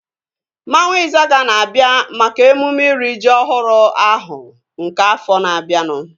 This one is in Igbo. Mmanwu Izaga na-abịa maka emume iri ji ọhụrụ ahu nke afọ na-abianu